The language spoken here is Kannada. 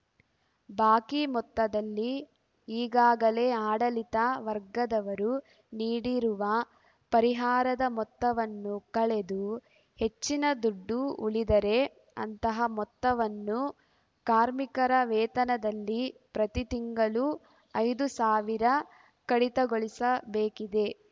ಬಾಕಿ ಮೊತ್ತದಲ್ಲಿ ಈಗಾಗಲೇ ಆಡಳಿತ ವರ್ಗದವರು ನೀಡಿರುವ ಪರಿಹಾರದ ಮೊತ್ತವನ್ನು ಕಳೆದು ಹೆಚ್ಚಿನ ದುಡ್ಡು ಉಳಿದರೆ ಅಂತಹ ಮೊತ್ತವನ್ನು ಕಾರ್ಮಿಕರ ವೇತನದಲ್ಲಿ ಪ್ರತಿ ತಿಂಗಳು ಐದು ಸಾವಿರ ಕಡಿತಗೊಳಿಸಬೇಕಿದೆ